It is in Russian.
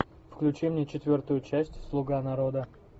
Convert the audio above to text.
включи мне четвертую часть слуга народа